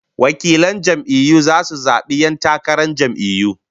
Delegates will vote in the primaries